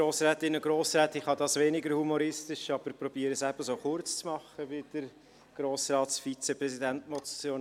Ich kann das weniger humoristisch, versuche es aber, es ebenso kurz zu machen wie der Vizepräsident des Grossen Rats.